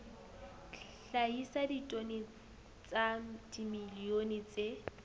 hlahisa ditone tsa dimilione tse